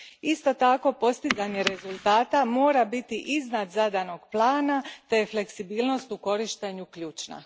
Isto tako, postizanje rezultata mora biti iznad zadanog plana te je fleksibilnost u korištenju ključna.